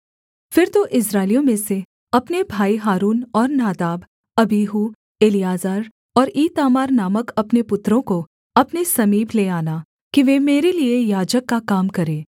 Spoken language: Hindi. फिर तू इस्राएलियों में से अपने भाई हारून और नादाब अबीहू एलीआजर और ईतामार नामक उसके पुत्रों को अपने समीप ले आना कि वे मेरे लिये याजक का काम करें